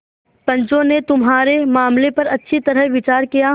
पंचों ने तुम्हारे मामले पर अच्छी तरह विचार किया